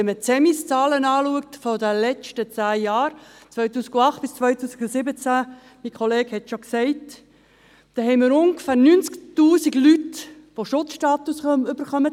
– Wenn man die Zahlen des Zentralen Migrationsinformationssystems (Zemis) der letzten zehn Jahre, von 2008 bis 2017, betrachtet, haben wir – mein Kollege hat es bereits gesagt – ungefähr 90 000 Personen, die einen Schutzstatus haben;